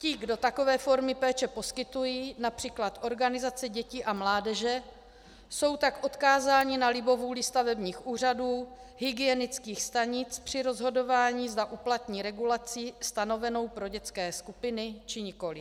Ti, kdo takové formy péče poskytují, například organizace dětí a mládeže, jsou tak odkázáni na libovůli stavebních úřadů, hygienických stanic při rozhodování, zda uplatní regulaci stanovenou pro dětské skupiny, či nikoliv.